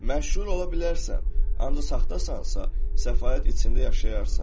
Məşhur ola bilərsən, ancaq saxtasansa, səfaət içində yaşayarsan.